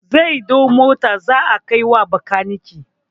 zai ɗau Motar zaa kai wa bakanike.